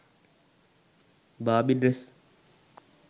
barbie dress